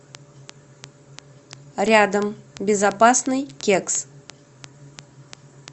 рядом безопасный кекс